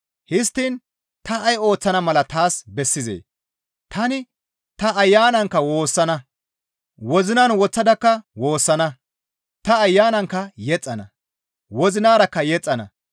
Histtiin ta ay ooththana mala taas bessizee? Tani ta Ayanankka woossana; wozinan woththadakka woossana; ta Ayanankka yexxana. Wozinarakka yexxana.